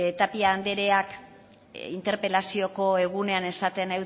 tapia andereak interpelazioko egunean esaten